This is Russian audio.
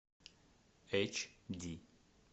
эйч ди